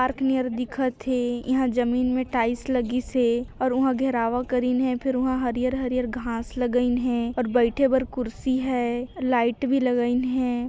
Park near दिखत हे इहाँ जमीन में टाइल्स लगिस हे अऊ उहाँ गहवारा करीन हे और फिर वह हरियर -हरियर घास लगाइन हे और बैठे बर कुर्सी हे लाइट भी लागियान हे।